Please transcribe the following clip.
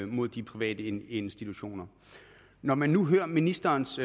mod de private institutioner når man nu hører ministerens